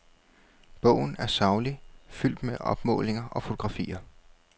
Bogen er saglig, fuldt med opmålinger og fotografier.